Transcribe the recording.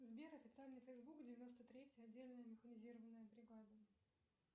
сбер официальный фейсбук девяносто третья отдельная механизированная бригада